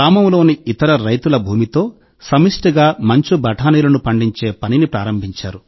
గ్రామంలోని ఇతర రైతుల భూమితో సమష్టిగా మంచు బఠానీలను పండించే పనిని ప్రారంభించారు